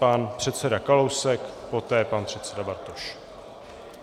Pan předseda Kalousek, poté pan předseda Bartoš.